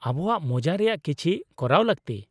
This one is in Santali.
-ᱟᱵᱚᱣᱟᱜ ᱢᱚᱡᱟ ᱨᱮᱭᱟᱜ ᱠᱤᱪᱷᱤ ᱠᱚᱨᱟᱣ ᱞᱟᱹᱠᱛᱤ ᱾